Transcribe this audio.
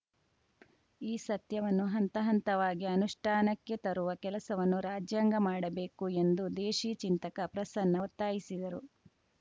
ಈ ಸತ್ಯವನ್ನು ಹಂತ ಹಂತವಾಗಿ ಅನುಷ್ಠಾನಕ್ಕೆ ತರುವ ಕೆಲಸವನ್ನು ರಾಜ್ಯಾಂಗ ಮಾಡಬೇಕು ಎಂದು ದೇಶಿ ಚಿಂತಕ ಪ್ರಸನ್ನ ಒತ್ತಾಯಿಸಿದರು